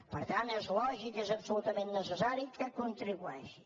per tant és lògic és absolutament necessari que contribueixin